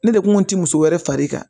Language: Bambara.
Ne de kun ti muso wɛrɛ fari kan